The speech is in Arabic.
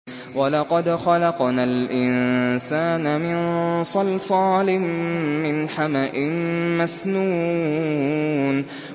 وَلَقَدْ خَلَقْنَا الْإِنسَانَ مِن صَلْصَالٍ مِّنْ حَمَإٍ مَّسْنُونٍ